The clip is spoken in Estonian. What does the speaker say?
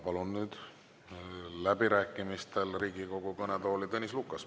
Palun nüüd läbirääkimistel Riigikogu kõnetooli Tõnis Lukase.